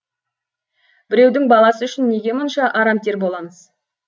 біреудің баласы үшін неге мұнша арамтер боламыз